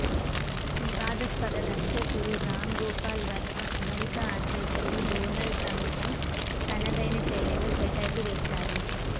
వివాదాస్పద దర్శకుడు రామ్ గోపాల్ వర్మ అమెరికా అధ్యక్షుడు డోనాల్డ్ ట్రంప్ పై తనదైన శైలిలో సెటైర్లు వేశారు